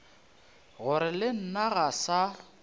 gore le nna ga sa